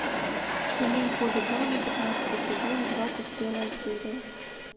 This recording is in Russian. кино хулиганы пятнадцатый сезон двадцать первая серия